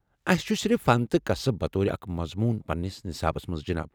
اسہ چُھ صرف فن تہٕ کسب بطور اكھ مضموٗن پننس نِصابس منٛز ، جناب۔